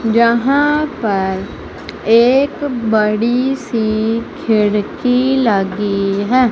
यहां पर एक बड़ी सी खिड़की लगी है।